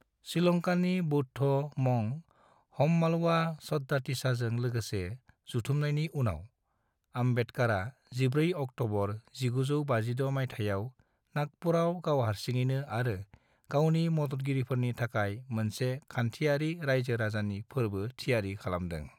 श्रीलंकानि बौद्ध मंक हम्मालवा सद्दातिसाजों लोगोसे जथुमनायनि उनाव, आम्बेडकरआ 14 अक्टबर 1956 मायथाइयाव नागपुरआव गावहारसिङैनि आरो गावनि मददगिरिफोरनि थाखाय मोनसे खानथियारि रायजो राजानि फोरबोनि थियारि खालामदों।